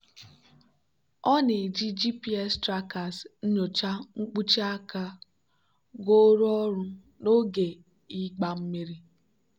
ọ na-eji gps trackers nyochaa mkpuchi aka goro ọrụ n'oge ịgba mmiri.